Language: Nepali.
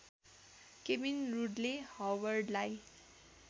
Kevin Rudley हवर्डलाई